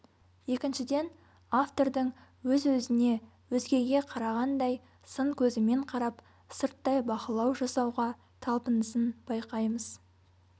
екіншіден автордың өз-өзіне өзгеге қарағандай сын көзімен қарап сырттай бақылау жасауға талпынысын байқаймыз